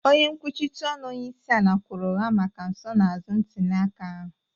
onye nkwuchite ọnụ onyeisiala kwuru ụgha maka nsonaazụ ntuliaka ahụ.